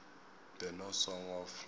the no song of